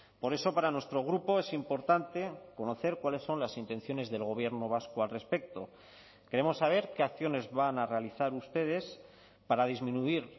por eso para nuestro grupo es importante conocer cuáles son las intenciones del gobierno vasco al respecto queremos saber qué acciones van a realizar ustedes para disminuir